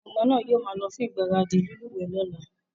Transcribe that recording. Àwon ọmọ náà yio máa lo fún ìgbáradì lílúwẹ̀ẹ́ lọ́la